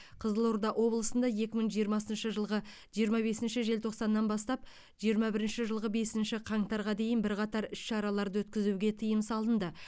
қызылорда облысында екі мың жиырмасыншы жылғы жиырма бесінші желтоқсаннан бастап жиырма бірінші жылғы бесінші қаңтарға дейін бірқатар іс шараларды өткізуге тыйым салынды